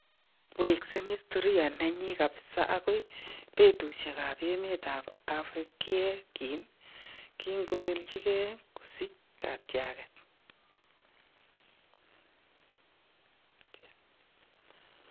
Weksen hsitoria nenyin kabisa agoi betushiek ab emet ab Afrik yegin Kigobeljingei kosiich katyaget.